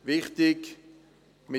Wichtig ist: